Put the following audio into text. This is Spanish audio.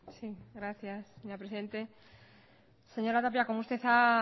sí gracias señora presidente señora tapia como usted ha